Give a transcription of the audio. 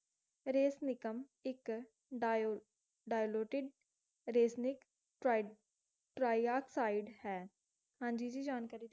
ਇੱਕ ਡਾਯੋ diluted tri, trioxide ਹੈ ਹਾਂਜੀ ਜੀ ਜਾਣਕਾਰੀ